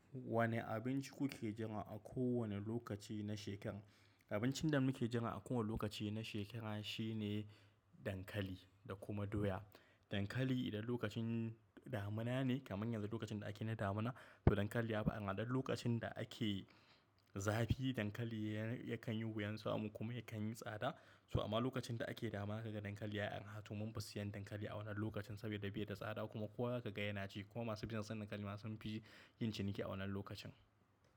Wane abinci kuke jira a kowane lokaci na shekara? Abincin da muke jira a kowane lokaci na shekara shine dankali da kuma doya. Dankali idan lokacin damuna ne, kamar yanzu lokacin da ake na damuna, to dankali yafi arha don lokacin da ake zafi dankali yakan yi wuyar samu kuma yakan yi tsada. So amma lokacin da ake damuna zaka ga dankali, ya'yan hatun mun fi siyan dankali a wannan lokacin saboda bai da tsada kuma kowa kaga yana ci kuma masu bisinan san dankali ma sun fi yin ciniki a wannan lokacin.